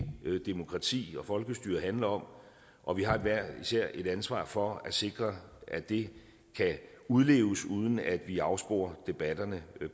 demokrati og folkestyre handler om og vi har hver især et ansvar for at sikre at det kan udleves uden at vi afsporer debatterne